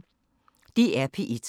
DR P1